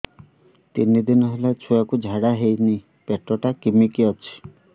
ତିନି ଦିନ ହେଲା ଛୁଆକୁ ଝାଡ଼ା ହଉନି ପେଟ ଟା କିମି କି ଅଛି